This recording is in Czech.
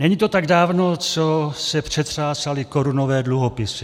Není to tak dávno, co se přetřásaly korunové dluhopisy.